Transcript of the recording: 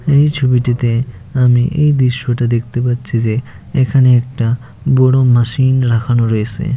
এই ছবিটিতে আমি এই দৃশ্যটা দেখতে পাচ্ছি যে এখানে একটা বড় মেশিন রাখানো রয়েসে।